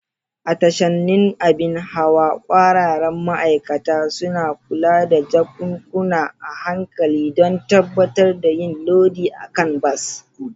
A tashanin abin hawa, ƙwararrun ma'aikata suna kula da jakunkuna a hankali don tabbatar da yin lodi a kan bas.